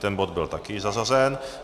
Tento bod byl taky zařazen.